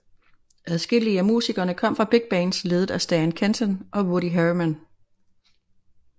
Adskillige af musikerne kom fra big bands ledet af Stan Kenton og Woody Herman